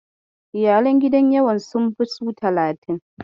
Iyalan gidan yawan sun fi su talatin.